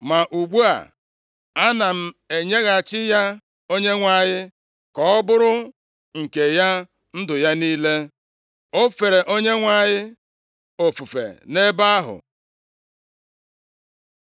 Ma ugbu a, ana m enyeghachi ya Onyenwe anyị ka ọ bụrụ nke ya ndụ ya niile.” O fere Onyenwe anyị ofufe nʼebe ahụ.